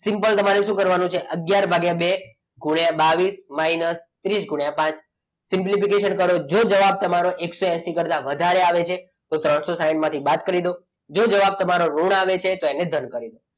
Simple તમારે શું કરવાનું છે અગિયાર ભાગ્યા બે ગુણ્યા બાવીસ માઇનસ ત્રીસ ગુણ્યા પાંચ. simplification કરો જો જવાબ તમારો એકસો એસી કરતા વધારે આવે છે તો ત્રણસો સાઈઠ માંથી બાદ કરી દો જો જવાબ તમારો ઋણ આવે છે તો તેને ધન કરી દો.